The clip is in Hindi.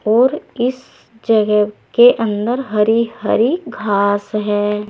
और इस जगह के अंदर हरी हरी घास है।